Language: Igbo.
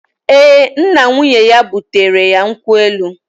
Ee, nna nwunye ya butere ya nkwụ elu